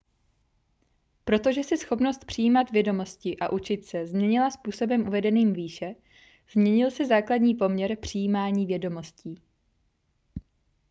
protože se schopnost přijímat vědomosti a učit se změnila způsobem uvedeným výše změnil se základní poměr přijímání vědomostí